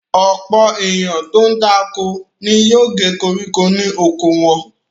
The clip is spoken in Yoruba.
Ọ̀pọ̀ ènìyàn tó ń dáko ni yóò gé koríko ní oko wọn.